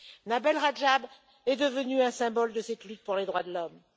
Nabil Rajab est devenu un symbole de cette lutte pour les droits de l'homme.